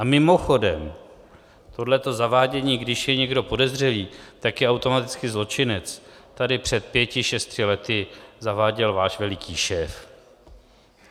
A mimochodem, tohleto zavádění, když je někdo podezřelý, tak je automaticky zločinec, tady před pěti šesti lety zaváděl váš veliký šéf.